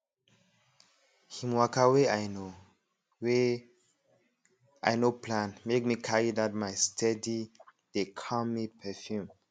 him waka wey i no wey i no plan make me carry that my steadydeycalmme perfume